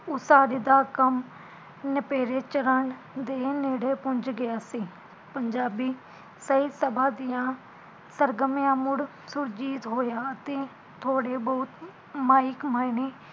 ਉਸਾਰੀ ਦਾ ਕੰਮ ਨਿਪੇੜੇ ਚੜ੍ਹਨ ਦੇ ਨੇੜੇ ਪੂੰਜ ਗਿਆ ਸੀ ਪੰਜਾਬੀ ਸਹੀਂ ਤੱਫਾ ਦੀਆ ਸਰਗਮੀਆਂ ਮੁੜ ਸੁਰਜੀਤ ਹੋਇਆ ਅਤੇ ਥੋੜੇ ਬਹੁਤ ਮਹਿਕ ਮਾਇਨੀ